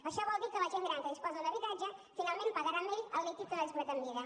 això vol dir que la gent gran que disposa d’un habitatge finalment pagarà amb ell el líquid que no ha disposat en vida